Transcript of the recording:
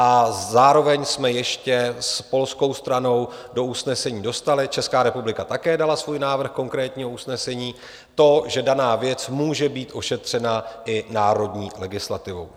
A zároveň jsme ještě s polskou stranou do usnesení dostali, Česká republika také dala svůj návrh konkrétního usnesení, to, že daná věc může být ošetřena i národní legislativou.